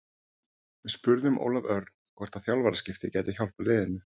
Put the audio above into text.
Við spurðum Ólaf Örn hvort þjálfaraskipti gætu hjálpað liðinu?